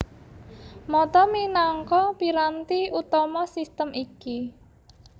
Mata minangka piranti utama sistem iki